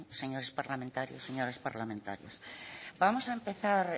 señores parlamentarios señoras parlamentarias vamos a empezar